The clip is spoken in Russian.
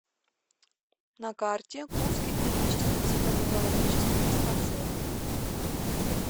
на карте курский клинический психоневрологический диспансер